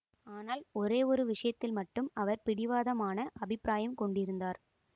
ஆனால் ஒரே ஒரு விஷயத்தில் மட்டும் அவர் பிடிவாதமான அபிப்ராயம் கொண்டிருந்தார்